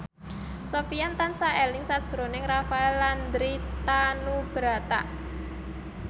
Sofyan tansah eling sakjroning Rafael Landry Tanubrata